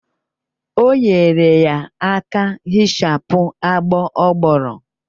O nyere ya aka hichapụ agbọ ọ gbọrọ